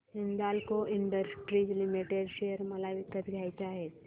Hindalco industries limited share मला विकत घ्यायचे आहेत